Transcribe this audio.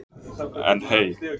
En hey.